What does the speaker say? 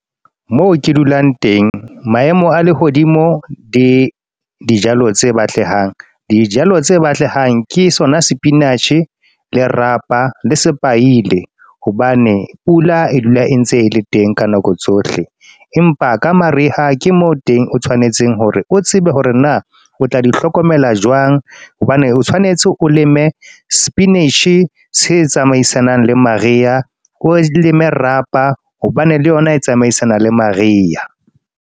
Moo ke dulang teng. Maemo a lehodimo, di dijalo tse batlehang. Dijalo tse batlehang ke sona spinach, le rapa, le sepaite. Hobane pula e dula e ntse e le teng ka nako tsohle. Empa ka mariha ke moo teng o tshwanetseng hore o tsebe hore na, o tla di hlokomela jwang. Hobane o tshwanetse o leme spinach, se tsamaisanang le mariha. O leme rapa hobane le yona e tsamaisana le mariha.